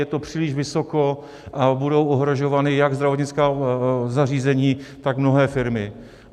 Je to příliš vysoko a budou ohrožována jak zdravotnická zařízení, tak mnohé firmy.